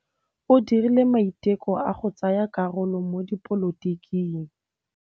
O dirile maitekô a go tsaya karolo mo dipolotiking.